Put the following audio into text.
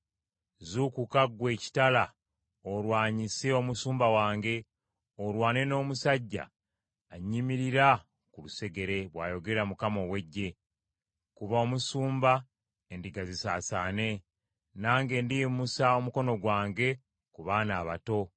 “Zuukuka, ggwe ekitala olwanyise omusumba wange, olwane n’omusajja annyimirira ku lusegere,” bw’ayogera Mukama ow’Eggye. “Kuba omusumba endiga zisaasaane nange ndiyimusa omukono gwange ku baana abato.